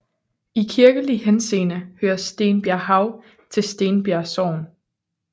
I kirkelig henseende hører Stenbjerghav til Stenbjerg Sogn